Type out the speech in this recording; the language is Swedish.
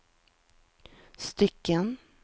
stycken